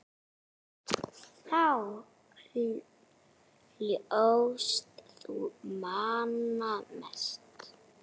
Þá hlóst þú manna mest.